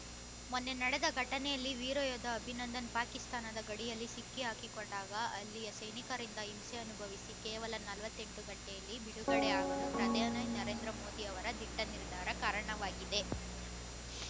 ಮೊನ್ನೆ ನಡೆದ ಘಟನೆಯಲ್ಲಿ ವೀರಯೋಧ ಅಭಿನಂದನ್‌ ಪಾಕಿಸ್ತಾನದ ಗಡಿಯಲ್ಲಿ ಸಿಕ್ಕಿಹಾಕಿಕೊಂಡಾಗ ಅಲ್ಲಿಯ ಸೈನಿಕರಿಂದ ಹಿಂಸೆ ಅನುಭವಿಸಿ ಕೇವಲ ನಲವತ್ತೆಂಟು ಗಂಟೆಯಲ್ಲಿ ಬಿಡುಗಡೆ ಆಗಲು ಪ್ರಧಾನಿ ನರೇಂದ್ರ ಮೋದಿ ಅವರ ದಿಟ್ಟ ನಿರ್ಧಾರ ಕಾರಣವಾಗಿದೆ